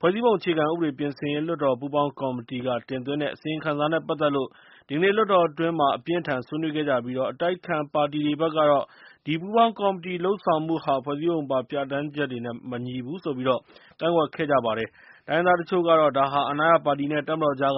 ဖွဲ့စည်းပုံအခြေခံဥပဒေပြင်ဆင်ရေး လွှတ်တော်ပူးပေါင်းကော်မတီက တင်သွင်းတဲ့ အစီရင်ခံစာနဲ့ပတ်သက်လို့ ဒီကနေ့လွှတ်တော်အတွင်း အပြင်းအထန်ဆွေးနွေးခဲ့ကြပြီး၊ အတိုက်အခံပါတီတွေဖက်ကတော့ ဒီပူးပေါင်းကော်မတီလုပ်ဆောင်မှုဟာ ဖွဲ့စည်းပုံပါ ပြဌာန်းချက်တွေနဲ့မညီဘူးလို့ ကန့်ကွက်ခဲ့ကြပါတယ်။ တိုင်းရင်းသားအချို့ကတော့ ဒါဟာ အာဏာရပါတီနဲ့ တပ်မတော်အကြား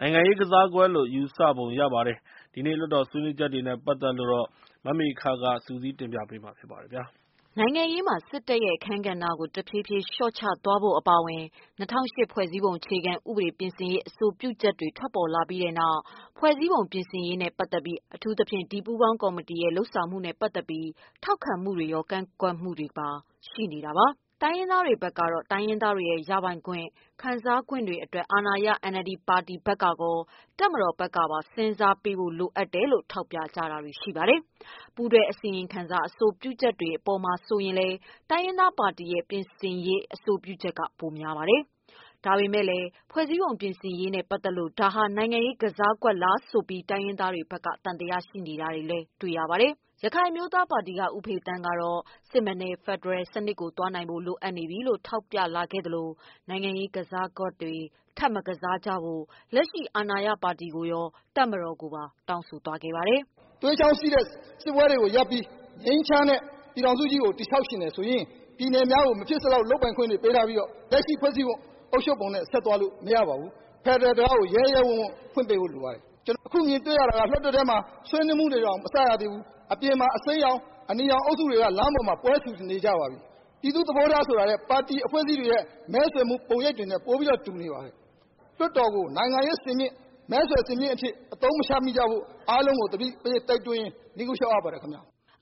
နိုင်ငံရေးကစားကွက်လို့ ယူဆပုံရပါတယ်။ ဒီနေ့ လွှတ်တော်ဆွေးနွေးချက်တွေနဲ့ပတ်သက်လို့ မမေခက စုစည်းတင်ပြပေးမှာပါ။ နိုင်ငံရေးမှာ စစ်တပ်ရဲ့ အခန်းကဏ္ဍကို တဖြည်းဖြည်း လျှော့ချသွားဖို့ အပါအဝင် ၂၀၀၈ ဖွဲ့စည်းပုံ အခြေခံဥပဒေ ပြင်ဆင်ရေး အဆိုပြုချက်တွေ ထွက်လာပြီးနောက် ဖွဲ့စည်းပုံပြင်ဆင်ရေးနဲ့ ပတ်သက်ပြီး အထူးသဖြင့် ဒီပူးပေါင်းကော်မတီရဲ့ လုပ်ဆောင်မှုနဲ့ပတ်သက်ပြီး ထောက်ခံမှုတွေရော ကန့်ကွက်မှုတွေပါ ရှိနေတာပါ။ တိုင်းရင်းသားတွေဘက်ကတော့ တိုင်းရင်းသားတွေရဲ့ ရပိုင်ခွင့်ခံစားခွင့်တို့အတွက် အာဏာရ NLD ဘက်ကကော တပ်မတော် ဘက်ကပါစဉ်းစားဖို့လိုတယ်လို့ထောက်ပြကြပါတယ်။ ပူးတွဲအစီရင်ခံစာ အဆိုပြုချက်တွေမှာဆိုရင်လည်း တိုင်းရင်းသားပါတီရဲ့ ပြင်ဆင်ရေးအဆိုပြုချက်က ပိုများပါတယ်။ ဒါပေမယ့်လည်း ဖွဲ့စည်းပုံ ပြင်ဆင်ရေးနဲ့ပတ်သက်လို့ ဒါဟာ နိုင်ငံရေးကစားကွက်လားဆိုပြီး တိုင်းရင်းသားတွေဖက်က သံသယရှိနေတာလည်း တွေ့ရပါတယ်။ ရခိုင်အမျိုးသားပါတီက ဦးဖေသန်းကတော့ စစ်မှန်တဲ့ဖက်ဒရယ်စနစ်ကိုသွားနိုင်ဖို့ လိုအပ်နေပြီလို့ထောက်ပြလာခဲ့သလို နိုင်ငံ ရေးကစားကွက်တွေထပ်မကစားကြဖို့ လက်ရှိအာဏာရပါတီကိုကော တပ်မတော်ကိုကောတောင်းဆိုသွားပါတယ်။ “သွေးကြောင်းစီးတဲ့ စစ်ပွဲတွေကို ရပ်ပြီး ငြိမ်းချမ်းတဲ့ ပြည်ထောင်စုကြီးကို တည်ဆောက်ချင်တယ်ဆိုရင် ပြည်နယ်များကို မဖြစ်စလောက် လုပ်ပိုင်ခွင့်တွေပေးထားပြီးတော့ လက်ရှိဖွဲ့စည်းအုပ်ချုပ်ပုံနဲ့ ဆက်သွားလို့မရပါဘူး။ ဖက်ဒရယ်တံခါးကို ရဲရဲဝံ့ဝံ့ ဖွင့်ပေးဖို့ လိုပါတယ်။ အခုမြင်တွေ့ရတာက လွှတ်တော်ထဲမှာ ဆွေးနွေးမှုတွေတောင်မစရသေးဘူး အပြင်မှာ အစိမ်းရောင်၊ အနီရောင်အုပ်စုတွေက လမ်းပေါ်မှာ ပွဲဆူနေကြပါပြီ။ ပြည်သူ့သဘောထားဆိုတာလည်း ပါတီအဖွဲ့အစည်းတွေရဲ့ မဲဆွယ်မှု ပုံရိပ်တွေနဲ့ ပိုပြီးတော့ တူနေပါတယ်။ လွှတ်တော်ကို နိုင်ငံရေးစင်မြင့်အထိ အသုံးမချမိကြဖို့ အားလုံးကို သတိပေးရင်း နိဂုံးချုပ်ပါတယ်။”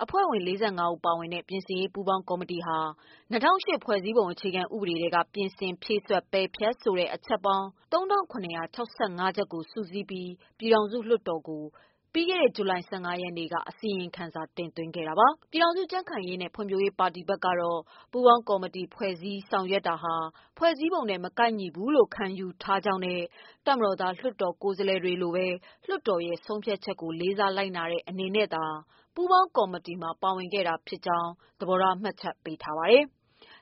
အဖွဲ့ဝင် ၄၅ ဦးပါဝင်တဲ့ ပြင်ဆင်ရေးပူးပေါင်းကော်မတီဟာ ၂ဝဝ၈ ဖွဲ့စည်းပုံအခြေခံဥပဒေထဲက ပြင်ဆင်၊ ဖြည့်စွက်၊ ပယ်ဖျက်ဖို့ အချက်ပေါင်း ၃၇၆၅ ချက်ကို စုစည်းပြီး ပြည်ထောင်စုလွှတ်တော်မှာ ဇူလိုင်လ ၁၅ ရက်နေ့က အစီရင်ခံစာ တင်သွင်းခဲ့တာပါ။ ပြည်ခိုင်ဖြိုးပါတီကတော့ ပူးပေါင်းကော်မတီ ဖွဲ့စည်းဆောင်ရွက်တာဟာ ဖွဲ့စည်းပုံနဲ့ မကိုက်ညီဘူးလို့ ခံယူထားကြောင်းနဲ့ တပ်မတော်သား ကိုယ်စားလှယ်တွေလိုပဲ လွှတ်တော်ရဲ့ဆုံးဖြတ်ချက်ကို လေးစားလိုက်နာတဲ့ အနေနဲ့သာ ပူးပေါင်းကော်မတီမှာ ပါဝင်ခဲ့တာဖြစ်ကြောင်းလည်း သဘောထား မှတ်ချက်ပေးထားပါတယ်။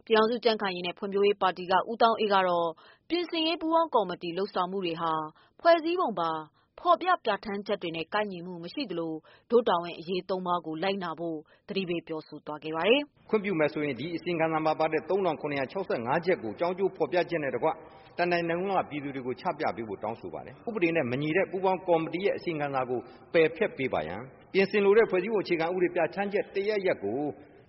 ပြည်ထောင်စု ကြံခိုင်ရေးနဲ့ဖွံ့ဖြိုးရေးပါတီက ဦးသောင်းအေးကတော့ ပြင်ဆင်ရေးပူးပေါင်းကော်မတီလုပ်ဆောင်မှုတွေဟာ ဖွဲ့စည်းပုံပါ ဖော်ပြပြဌာန်းချက်တွေနဲ့ကိုက်ညီမှုမရှိသလို ဒို့တာဝန်အရေး ၃ပါးကို လိုက်နာဖို့ သတိပေးပြောဆိုလိုက်ပါတယ်။ “ခွင့်ပြုမယ်ဆိုရင် ဒီအစီရင်ခံစာမှာပါတဲ့ ၃၇၆၅ ချက်ကို အကျိုးအကြောင်းဖော်ပြချက်နဲ့ တကွ တနိုင်ငံလုံးက ပြည်သူတွေကို ချပြပေးဖို့ တောင်းဆိုပါတယ်။ ဥပဒေနဲ့ မညီတဲ့ ပူးပေါင်းကော်မတီရဲ့ အစီရင်ခံစာကို ပယ်ဖျက်ပေးပါရန် ပြင်ဆင်လိုတဲ့ ဖွဲ့စည်းပုံ အခြေခံဥပဒေ ပြဌာန်းချက် တရပ်ရပ်ကို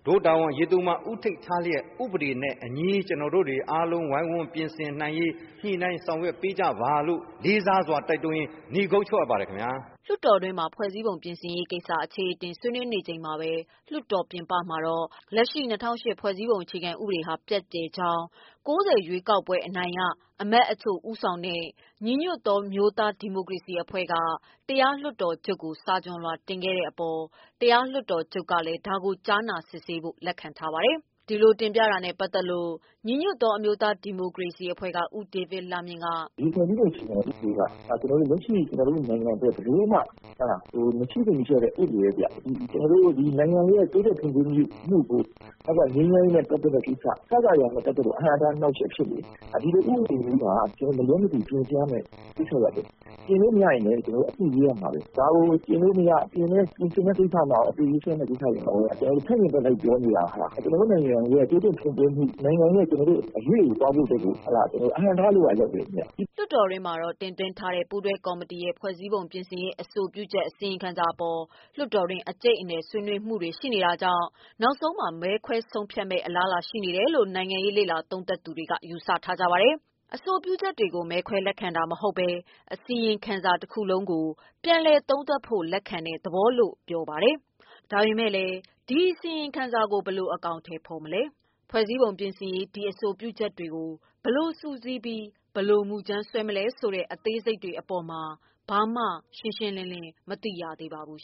ဒို့တာဝန်၃ ပါး ဦးထိပ်ထားပြီး ဥပဒေနဲ့အညီ ကျနော်တို့တွေ အားလုံးဝိုင်းဝန်းပြင်ဆင်နိုင်ရေး ညှိနှိုင်းဆောင်ရွက်ပေးကြပါလို့ လေးစားစွာတိုက်တွန်းရင်း နိဂုံးချုပ်အပ်ပါတယ်ခင်ဗျ။” လွှတ်တော်တွင်းမှာ ဖွဲ့စည်းပုံပြင်ဆင်ရေးကိစ္စ အခြေအတင်ဆွေးနွေးနေချိန်မှာပဲ၊ လွှတ်တော်ပြင်ပမှာတော့ လက်ရှိ ၂၀၀၈ ဖွဲ့စည်းပုံအခြေခံဥပဒေဟာ ပျက်ပြယ်ကြောင်း ၉၀ရွေးကောက်ပွဲနိုင်ရအမတ်တချို့ဦးဆောင်တဲ့ ညီညွတ်သော အမျိုးသားဒီမိုကရေစီအဖွဲ့က တရားလွှတ်တော်ချုပ်ကို စာခွျှန်လွှာတင်ခဲ့တဲ့အပေါ်၊ တရားလွှတ်တော်ချုပ်ကလည်း ဒါကို ကြားနာစစ်ဆေးဖို့လက်ခံထားပါတယ်။ ဒီလိုတင်ပြတာနဲ့ပတ်သတ်လို့ ညီညွှတ်သောအမျိုးသားဒီမိုကရေစီ အဖွဲ့ကဦးဒေးဗစ်လှမြင့်က “ဒီဖွဲ့စည်းပုံအခြေခံဥပဒေက လက်ရှိကျနော်တို့ နိုင်ငံအတွက် ဘယ်လိုမှ မဖြစ်သင့်တဲ့ ဥပဒေတွေဗျ။ ကျနော်တို့နိုင်ငံ တိုးတက်ဖွံ့ဖြိုးရေး၊ ငြိမ်းချမ်းရေးနဲ့ ပတ်သက်တဲ့ ကိစ္စ အစစအရာရာ အတွက်ကို အဟန့်အတား အနှောင့်အယှက်ဖြစ်နေတယ်။ ဒီလိုဥပဒေမျိုးမှာ ကျနော်တို့ မလွဲမသွေပြင်ရပါမယ် ပြင်လို့မရရင်လည်း ကျနော်တို့ တခုခု ရေးရမှာပါပဲ။ ဒါကို ပြင်လို့ မရ ပြင်ဆင်တဲ့ကိစ္စတွေမှာရော ဆန့်ကျင်ဘက်တွေ လိုက်ပြောနေတာ ကျနော်တို့ နိုင်ငံရဲ့ တိုးတက်ဖွံ့ဖြိုးမှု ကို သွားဖို့အတွက်ကို အဟန့်အတားဖြစ်နေတယ်ခင်ဗျ။” လွှတ်တော်တွင်းမှာတော့ တင်သွင်းထားတဲ့ ပူးတွဲကော်မတီရဲ့ ဖွဲ့စည်းပုံပြင်ဆင်ရေးအဆိုပြချက် အစီရင်ခံစာအပေါ် လွှတ်တော်တွင်း အကျိတ်အနယ်ဆွေးနွေးမှုတွေရှိတာကြောင့် နောက်ဆုံးမှာ မဲခွဲဆုံးဖြတ်မယ့်အလားအလာရှိတယ်လို့ နိုင်ငံရေးသုံးသပ်သူတွေကယူဆပါတယ်။ အဆိုပြုချက်တွေကို မဲခွဲလက်ခံတာမဟုတ်ပဲ၊ အစီရင်ခံစာတခုလုံးကို ပြန်လည်သုံးသပ်ဖို့လက်ခံတဲ့သဘောလို့ ပြောပါတယ်။ ဒါပေမယ့်လည်း ဒီ အစီရင်ခံစာကို ဘယ်လို အကောင်အထည်ဖော်မလဲ၊ ဖွဲ့စည်းပုံပြင်ရေး ဒီအဆိုပြုချက်တွေကို ဘယ်လိုစုစည်းပြီး ဘယ်လို မူကြမ်းဆွဲမလဲဆိုတဲ့ အသေးစိတ်တွေအပေါ်မှာ ဘာမှ ရှင်းရှင်းလင်းလင်းမရှိသေးပါဘူး